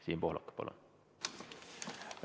Siim Pohlak, palun!